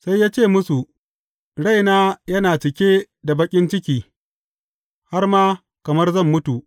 Sai ya ce musu, Raina yana cike da baƙin ciki har ma kamar zan mutu.